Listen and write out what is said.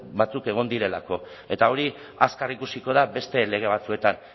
batzuk egon direlako eta hori azkar ikusiko da beste lege batzuetan